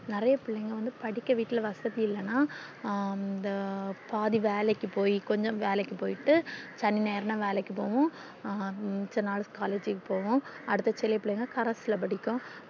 நெறைய பிள்ளைங்க வந்து படிக்க வீட்ல வசதி இல்லன்னா பாதி வேலைக்கும் போய் கொஞ்ச வேலைக்கு போய்ட்டு சனி ஞாயிறுன்னா வேலைக்கு போகும் மிச்ச நாள் collage க்கு போகும் அடுத்த சில பிள்ளை correspondence ல படிக்கும்